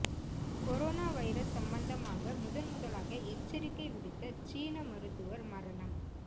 corona virus சம்பந்தமாக முதன் முதலாக எச்சரிக்கை விடுத்த சீன மருத்துவர் மரணம்